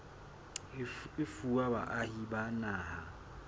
e fuwa baahi ba naha